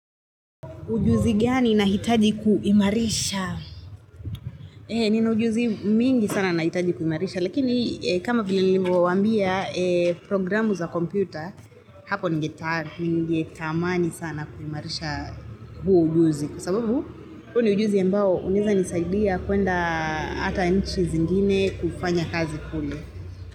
Ujuzi gani nahitaji kuimarisha Nina ujuzi mingi sana nahitaji kuimarisha, lakini kama vile nilimewaambia eee programu za kompyuta, hapo ningetaa, ngetamani sana kuimarisha huo ujuzi. Kwa sababu, huo ni ujuzi mbao unaeza nisaidia kwenda ata nchi zingine kufanya kazi kule.